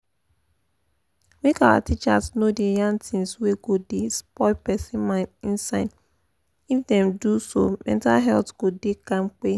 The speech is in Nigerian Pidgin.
make our teachers no da yan things wey go da spoil person mind inside if dem do so mental health go da kampe